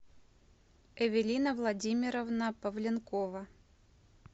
эвелина владимировна павленкова